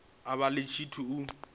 a vha ḽi tshithu u